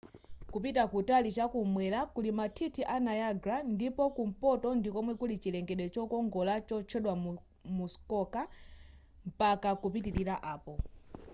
kupita kutali chakumwera kuli mathithi a niagara ndipo kumpoto ndikomwe kuli chilengedwe chokongola chotchedwa muskoka mpaka kupitilira apo